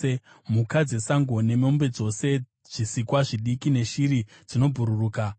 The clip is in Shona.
mhuka dzesango nemombe dzose, zvisikwa zvidiki neshiri dzinobhururuka,